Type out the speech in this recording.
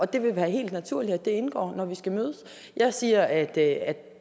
det vil være helt naturligt at det indgår når vi skal mødes jeg siger at